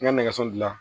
N ka nɛgɛso dilan